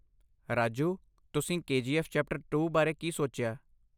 ਰਾਜੂ, ਤੁਸੀਂ KGF chapter two ਬਾਰੇ ਕੀ ਸੋਚਿਆ?